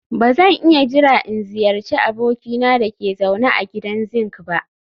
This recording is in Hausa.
Ba zan iya jira in ziyarci abokina da ke zaune a gidan zinc ba